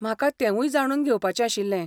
म्हाका तेंवूय जाणून घेवपाचें आशिल्लें.